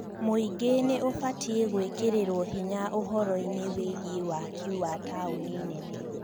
Mũingĩ nĩ ũbatiĩ gũĩkĩrĩrwo hinya ũhoro-inĩ wĩgiĩ waaki wa taũni nene